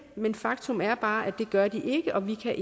men faktum er bare at det gør de ikke og vi kan